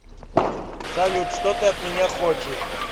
салют что ты от меня хочешь